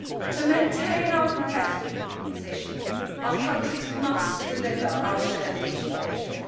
To maintain our competitive position our countries must deliver our shared digital vision.